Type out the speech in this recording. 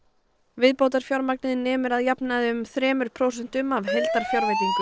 viðbótarfjármagnið nemur að jafnaði um þremur prósentum af heildarfjárveitingu